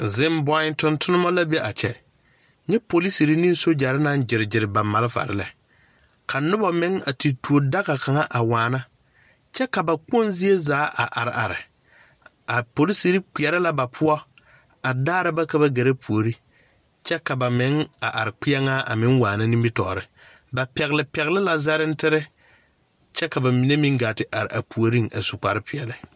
Zeŋboo tontonnema la be a kyɛ nyɛ poliserre ne sogyɛrre naŋ gyire gyire ba malfarre lɛ ka nobɔ meŋ a te tuodaga kaŋ a waana kyɛ ka ba kpoŋ zie zaa a are are a poliserre kpɛɛrɛ la ba poɔ a daara ba ka ba gɛrɛ puore kyɛ ka ba meŋ a are kpienŋaa a meŋ waana nimitoore ba pɛgle pɛgle la zarentirre kyɛ ka ba mine meŋ gaa te are a puoriŋ a su kpare peɛɛli.